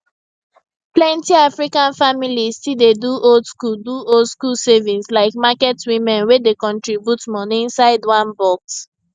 plenty african families still dey do oldschool do oldschool savings like market women wey dey contribute money inside one box